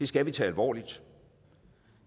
skal vi tage alvorligt